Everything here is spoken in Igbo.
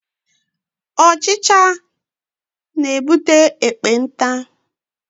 Ọchịcha na-ebute ekpenta.